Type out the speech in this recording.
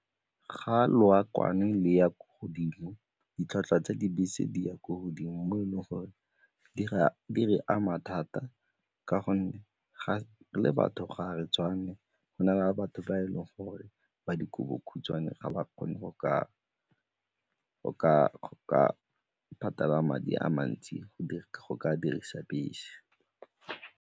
Ga leokwane le ya ko godimo, ditlhwatlhwa tsa dibese di ya ko godimo mo e leng gore di re ama thata ka gonne le batho ga re tshwane go na le batho ba e leng gore ba dikobodikhutshwane ga ba kgone go ka patala madi a mantsi go ka dirisa bese.